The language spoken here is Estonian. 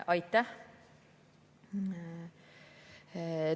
Aitäh!